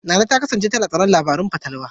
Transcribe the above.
Nana ta kasance tana tsoron labarun fatalwa.